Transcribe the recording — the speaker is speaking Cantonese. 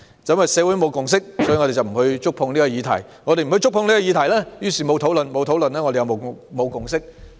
由於社會沒有共識，我們便不觸碰這項議題；我們不觸碰這項議題便沒有討論；我們沒有討論便沒有共識。